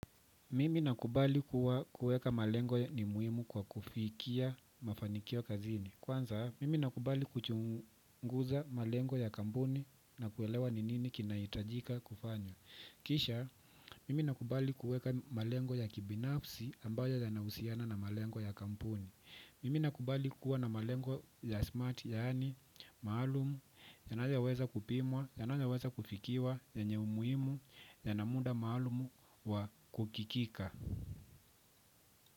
Mimi nakubali kuwa kuweka malengo ni muhimu kwa kufikia mafanikio kazini kwanza mimi nakubali kuchunguza malengo ya kampuni na kuelewa ni nini kinahitajika kufanywa. Kisha, mimi nakubali kuweka malengo ya kibinafsi ambayo yanahusiana na malengo ya kampuni. Mimi nakubali kuwa na malengo ya smart yaani maalumu yanayoweza kupimwa, yanayoweza kufikiwa, yenye umuhimu, yana muda maalumu wa kufikika.